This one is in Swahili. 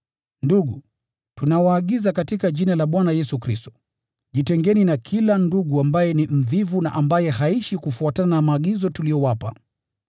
Ndugu, tunawaagiza katika Jina la Bwana Yesu Kristo, jitengeni na kila ndugu ambaye ni mvivu na ambaye haishi kufuatana na maagizo tuliyowapa.